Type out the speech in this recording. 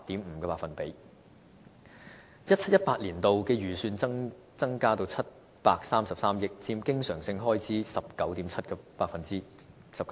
2017-2018 年度的預算增加至733億元，佔經常性開支 19.7%。